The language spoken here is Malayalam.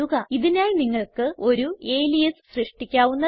ഇതിനായി നിങ്ങൾക്ക് ഒരു അലിയാസ് സൃഷ്ടിക്കാവുന്നതാണ്